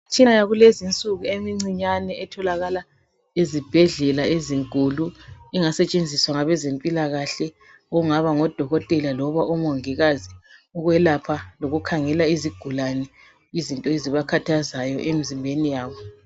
Imtshina yakulezi insuku emncinyane etholakala ezibhedlela ezinkulu engasetshenziswa ngabezempilakahle okungaba ngodokotela loba omongikazi ukwelapha lokukhangela izigulane izinto ezibakhathazayo emizimbeni yabo.